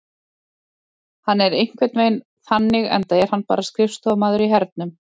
Hann er einhvern veginn þannig enda er hann bara skrifstofumaður í hernum.